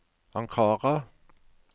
Ankara